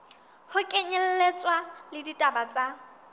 ho kenyelletswa le ditaba tse